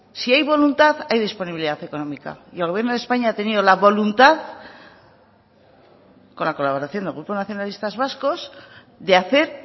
si hay voluntad hay disponibilidad económica y el gobierno de españa ha tenido la voluntad con la colaboración del grupo nacionalistas vascos de hacer